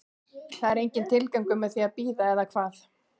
Það er enginn tilgangur með því að bíða, eða hvað?